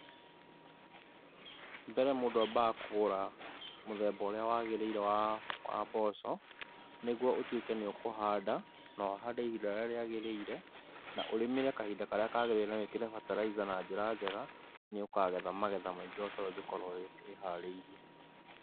Mbere mũndũ ambaga kũgũra mũthemba ũrĩa wagĩrĩire wa, wa mboco nĩguo ũtuĩke nĩ ũkũhanda, na ũhande ihinda rĩrĩa rĩagĩrĩire, na urĩmĩre kahinda karia kagĩrĩire, na wĩkire fertilizer na njĩra njega nĩ ũkagetha magetha maingĩ o ta ũrĩa ũngĩkorwo wĩiharĩirie.